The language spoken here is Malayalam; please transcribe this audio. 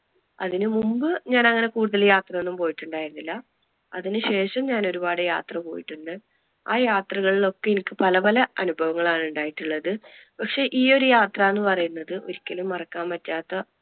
അതിനു മുൻപ് ഞാൻ അങ്ങനെ കൂടുതൽ യാത്ര ഒന്നും പോയിട്ടുണ്ടായിരുന്നില്ല. അതിനു ശേഷം ഞാൻ ഒരുപാട് യാത്രകൾ പോയിട്ടുണ്ട്. ആ യാത്രകളിൽ ഒക്കെ എനിക്ക് പലപല അനുഭവങ്ങൾ ആണ് ഉണ്ടായിട്ടുള്ളത്. പക്ഷെ ഈ ഒരു യാത്ര എന്ന് പറയുന്നത് ഒരിക്കലും മറക്കാൻ പറ്റാത്ത